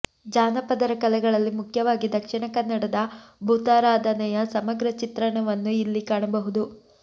ಜಾನಪದರ ಕಲೆಗಳಲ್ಲಿ ಮುಖ್ಯವಾಗಿ ದಕ್ಷಿಣ ಕನ್ನಡದ ಭೂತಾರಾಧನೆಯ ಸಮಗ್ರ ಚಿತ್ರಣವನ್ನು ಇಲ್ಲಿ ಕಾಣಬಹುದು